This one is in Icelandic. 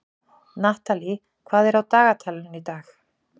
Natalie, hvað er á dagatalinu í dag?